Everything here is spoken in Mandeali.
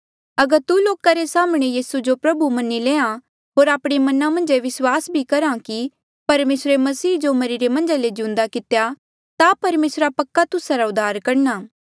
अगर तू लोका रे साम्हणें यीसू जो प्रभु मन्हां ईं ले होर आपणे मना मन्झ ये भी विस्वास करहे कि परमेसरे मसीह जो मरिरे मन्झा ले जिउंदा कितेया ता परमेसरा पक्का तुस्सा रा उद्धार करणा